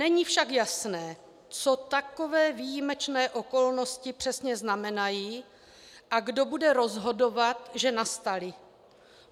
Není však jasné, co takové výjimečné okolnosti přesně znamenají a kdo bude rozhodovat, že nastaly.